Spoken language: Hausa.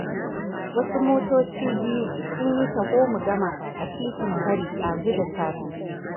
Wasu motoci biyu sun yi taho-mu-gama a titin Kwari ɗazu da safe.